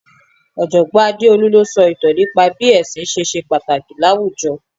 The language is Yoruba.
Ojogbon Adeolu ló sọ ìtàn nípa bí ẹsin ṣe ṣe pàtàkì láwùjọ.